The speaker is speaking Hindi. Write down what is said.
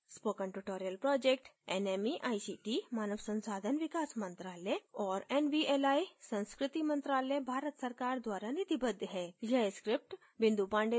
spoken tutorial project nmeict मानव संसाधन विकास मंत्रायल और nvli संस्कृति मंत्रालय भारत सरकार द्वारा निधिबद्ध है